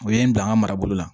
U ye n bila n ka marabolo la